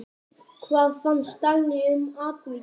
Hvað fannst Dagný um atvikið?